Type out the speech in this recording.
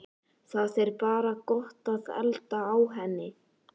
Það er bara gott að elda á henni